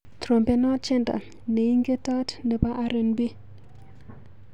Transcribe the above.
Trompenwa tyendo neingetot nebo RNB.